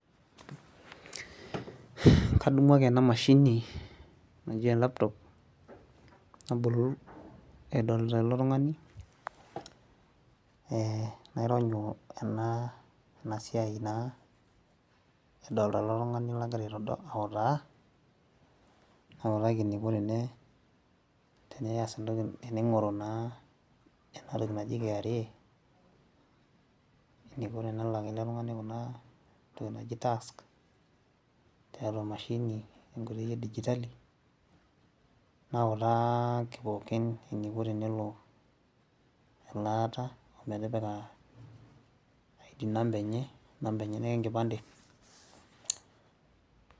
kadumu ake ena mashini ashu aa e laptop nabolu edolita ilo tungani, naironyu ea siai naa edolita ele tungani lagira autaa. nautaki eneiko tenigoru naa ena toki naji kra. eneiko tenelak ele tungani kuna toki naji tax. tiatua emashini, tenkoitoi edigitali. nautaki pookin eneiko tenelo elaata omitipika id number enye namba enyenak enkipande,